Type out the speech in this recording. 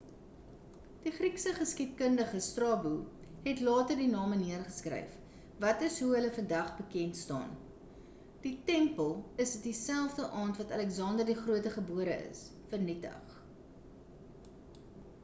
die griekse geskiedkundige strabo het later die name neergeskryf wat is hoe hulle vandag bekend staan die tempel is dieselfde aand wat aleksander die grote gebore is vernietig